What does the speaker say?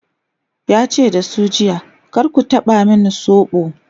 yace da su jiya"kar ku taba min sobo!'